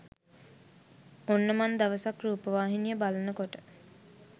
ඔන්න මන් දවසක් රුපවහිනිය බලන කොට